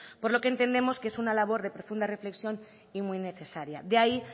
por lo que entendemos que es una labor de profunda reflexión y muy necesaria de ahí